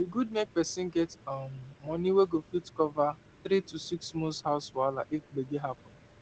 e good make person get um money wey go fit cover three to six months house wahala if gbege happen